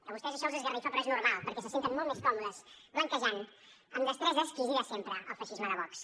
a vostès això els esgarrifa però és normal perquè se senten molt més còmodes blanquejant amb destresa exquisida sempre el feixisme de vox